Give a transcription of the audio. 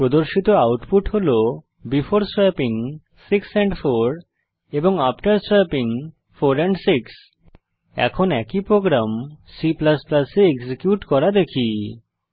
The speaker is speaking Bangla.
প্রদর্শিত আউটপুট হল বেফোর স্ব্যাপিং 6 এন্ড 4 এবং আফতের স্ব্যাপিং 4 এন্ড 6 এখন একই প্রোগ্রাম C এ এক্সিকিউট করা দেখি